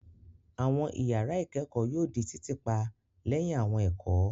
Àwọn ìyàrá ìkẹ́kọ̀ọ́ yóò di títì pa lẹ́yìn àwọn ẹ̀kọ́.